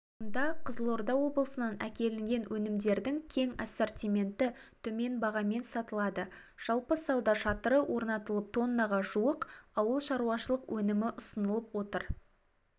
мұнда қызылорда облысынан әкелінген өнімдердің кең ассортименті төмен бағамен сатылады жалпы сауда шатыры орнатылып тоннаға жуық ауыл шаруашылық өнімі ұсынылып отыр